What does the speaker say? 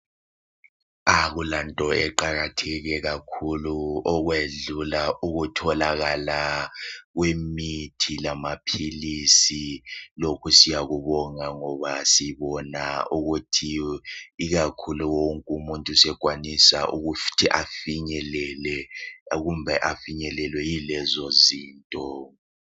Akulanto eqakatheke kakhulu okwedlula ukutholakala kwemithi lamaphilisi .Lokhu siyakubonga ngoba sibona ukuthi ikakhulu wonke umuntu sekwanisa ukuthi afinyelele kumbe afinyelelwe yilezozinto